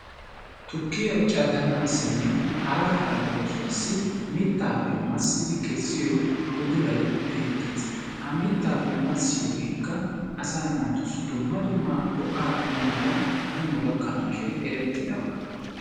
Tukkiya caddanaassinne hara hara oosuwassi mittaappe massidi kessiyo udulayi beettes. Ha mittaappe massiyogeekka asaa naatussi dumma dumma go"aa immiyogan hanno gakkanaashin erettidaba.